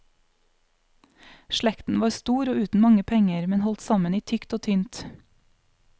Slekten var stor og uten mange penger, men holdt sammen i tykt og tynt.